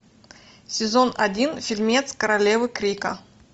сезон один фильмец королевы крика